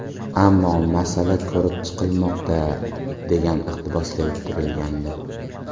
Ammo masala ko‘rib chiqilmoqda”, degan iqtibos keltirilgandi.